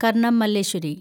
Karnam Malleshwari